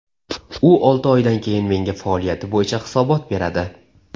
U olti oydan keyin menga faoliyati bo‘yicha hisobot beradi.